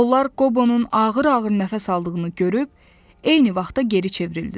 Onlar Qobonun ağır-ağır nəfəs aldığını görüb, eyni vaxtda geri çevrildilər.